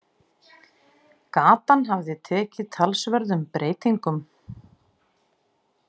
Gatan hafði tekið talsverðum breytingum.